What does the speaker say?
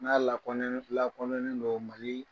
N'a la lakɔ lakɔnɛnen don Mali